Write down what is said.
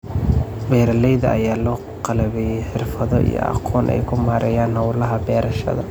Beeralayda ayaa loo qalabeeyay xirfado iyo aqoon ay ku maareeyaan hawlaha beerashaada.